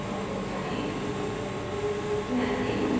terminal पर वापस जाएँ